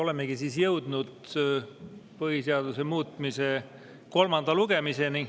Olemegi jõudnud põhiseaduse muutmise kolmanda lugemiseni.